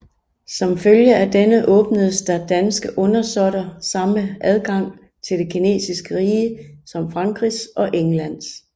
Som følge af denne åbnedes der danske undersåtter samme adgang til det kinesiske rige som Frankrigs og Englands